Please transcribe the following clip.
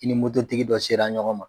I ni moto tigi dɔ sera ɲɔgɔn ma.